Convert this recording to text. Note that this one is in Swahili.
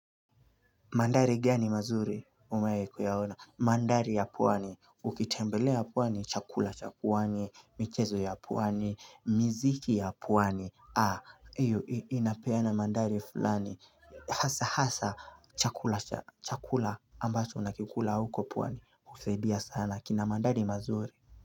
Maandhari gani mazuri umewahi kuyaona? Maandari ya pwani, ukitembelea pwani, chakula, cha pwani, michezo ya pwani, miziki ya pwani. Haa, iyo inapeana mandari fulani. Hasa, hasa, chakula, chakula ambacho unakikula huko pwani. Husadia sana, kina mandari mazuri.